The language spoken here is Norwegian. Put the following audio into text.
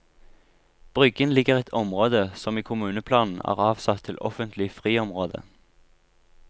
Bryggen ligger i et område som i kommuneplanen er avsatt til offentlig friområde.